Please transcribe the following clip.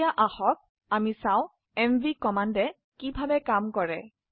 এখন আসুন দেখি এমভি কমান্ড কিভাবে কাজ কৰে